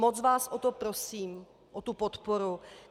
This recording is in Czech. Moc vás o to prosím, o tu podporu.